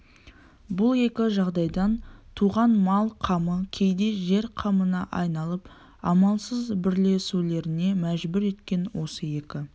бұл екі жағдайдан туған мал қамы кейде жер қамына айналып амалсыз бірлесулеріне мәжбүр еткен осы екі